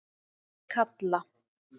Kalla